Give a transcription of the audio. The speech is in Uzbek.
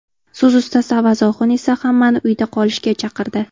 So‘z ustasi Avaz Oxun esa hammani uyda qolishga chaqirdi.